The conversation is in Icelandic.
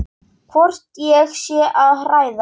Hvort ég sé að hræða.